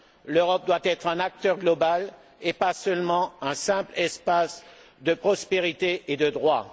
L'Europe doit être un acteur global et pas seulement un simple espace de prospérité et de droit.